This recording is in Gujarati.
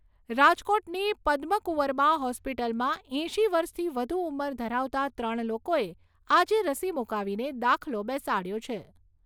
રાજકોટની પદ્મકુંવરબા હોસ્પિટલમાં એંશી વર્ષથી વધુ ઉંમર ધરાવતા ત્રણ લોકોએ આજે રસી મૂકાવીને દાખલો બેસાડ્યો છે.